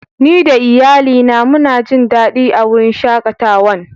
Ni da Iyalli na muna Jin dadi a'wurin shakatawan.